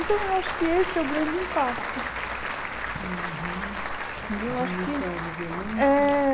Então eu acho que esse é o grande impacto. Entendeu eu acho que eh